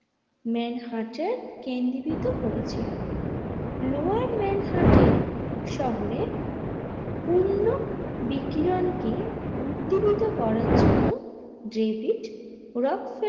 মানহার্টে কেন্দ্রিত হয়েছিল লোয়ার মানহার্টে শহরের পণ্য বিকিরণকে উদ্ধৃত করার জন্য দ্রেভিড উড়োক।